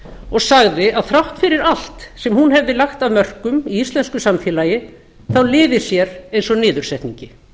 og sagði að þrátt fyrir allt sem hún hefði lagt af mörkum í íslensku samfélagi liði sér eins og niðursetningi